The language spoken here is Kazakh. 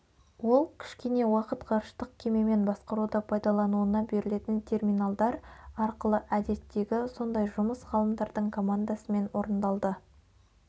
ол кішкене уақыт ғарыштық кемемен басқаруды пайдалануына берілетін терминалдар арқылы әдеттегі сондай жұмыс ғалымдардың командасымен орындалды